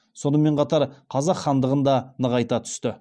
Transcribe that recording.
сонымен қатар қазақ хандығын да нығайта түсті